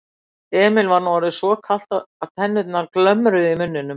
Emil var nú orðið svo kalt að tennurnar glömruðu í muninum.